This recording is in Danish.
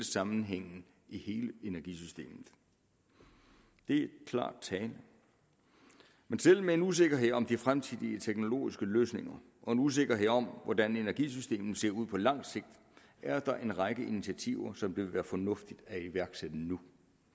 sammenhængen i hele energisystemet det er klar tale men selv med en usikkerhed om de fremtidige teknologiske løsninger og en usikkerhed om hvordan energisystemet ser ud på langt sigt er der en række initiativer som det vil være fornuftigt at iværksætte nu